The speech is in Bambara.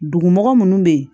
Dugumɔgɔ munnu bɛ ye